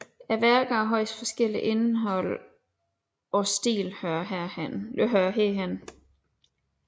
Værker af højst forskelligt indhold og stil hører herhen